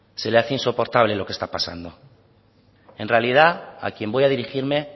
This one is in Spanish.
se le hace insoportable lo que está pasando en realidad a quien voy a dirigirme